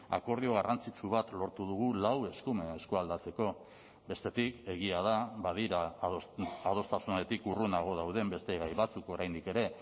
akordio garrantzitsu bat lortu dugu lau eskumen eskualdatzeko bestetik egia da badira adostasunetik urrunago dauden beste gai batzuk oraindik ere